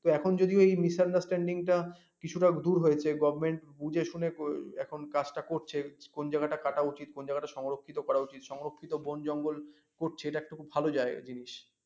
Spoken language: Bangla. এখন যদি ওই misunderstanding কিছু টা দূর হয়েছে govt. বুঝে শুনে এখন কাজ টা করছে কোন জায়গা টা কাটা উচিৎ, কোন জায়গা টা সংরক্ষিত করা উচিৎ সংরক্ষিত বন জঙ্গল করছে এটা খুব ভাল জিনিস